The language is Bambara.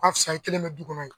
Ka fisa i kelen bɛ du kɔnɔ ye.